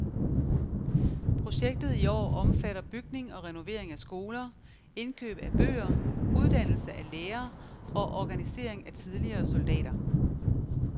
Projektet i år omfatter bygning og renovering af skoler, indkøb af bøger, uddannelse af lærer og organisering af tidligere soldater.